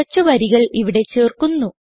കുറച്ച് വരികൾ ഇവിടെ ചേർക്കുന്നു